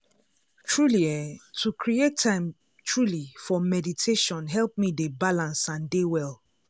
truely eeh to create time truely for meditation help me dey balance and dey well.